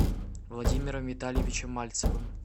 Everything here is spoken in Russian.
владимиром витальевичем мальцевым